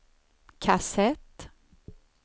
kassett